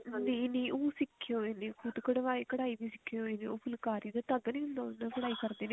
ਨਹੀਂ ਨਹੀਂ ਉਹ ਸਿੱਖੇ ਹੋਏ ਨੇ ਖੁਦ ਕਢਾਈ ਵੀ ਸਿੱਖੇ ਹੋਏ ਨੇ ਉਹ ਫੁਲਕਾਰੀ ਦਾ ਧਾਗਾ ਨੀ ਹੁੰਦਾ ਉਹ ਉਸ ਨਾਲ ਕਢਾਈ ਕਰਦੇ ਨੇ